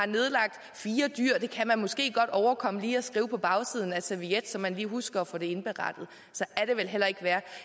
nedlagt fire dyr det kan man måske godt overkomme lige at skrive på bagsiden af en serviet så man lige husker at få det indberettet så er det vel heller ikke værre